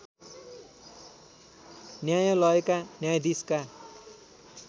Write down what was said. न्यायलयका न्यायधीशका